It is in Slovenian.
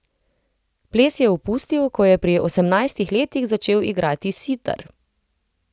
Ples je opustil, ko je pri osemnajstih letih začel igrati sitar.